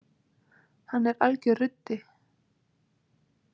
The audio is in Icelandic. Hann er algjör ruddi.